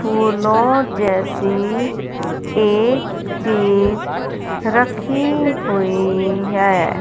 फूलो जैसी एक चीज रखी हुई है।